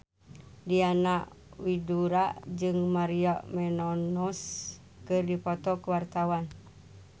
Diana Widoera jeung Maria Menounos keur dipoto ku wartawan